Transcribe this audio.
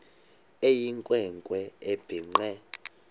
eyinkwe nkwe ebhinqe